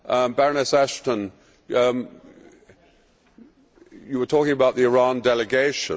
Baroness Ashton, you were talking about the Iran delegation.